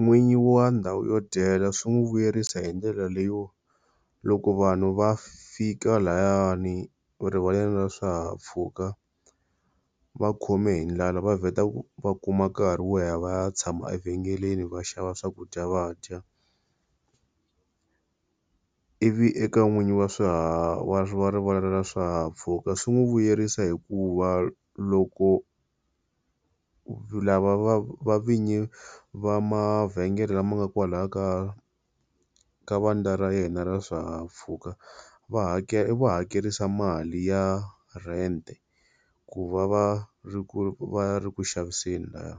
N'winyi wa ndhawu yo dyela swi n'wi vuyerisa hindlela leyo, loko vanhu va fika layani erivaleni ra swihahampfhuka va khome hi ndlala, va vheta va kuma nkarhi wo ya va ya tshama vhengeleni va xava swakudya va dya. Ivi eka n'winyi wa swiharhi wa rivala ra swihahampfhuka swi n'wi vuyerisa hikuva loko lava va vinyi va mavhengele lama nga kwalaya ka ka vandla ra yena ra swihahampfhuka va hakela, u va hakerisa mali ya rent, ku va va ri va ri kuxaviseni lahaya.